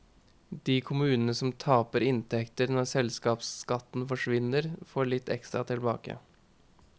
De kommunene som taper inntekter når selskapsskatten forsvinner, får litt ekstra tilbake.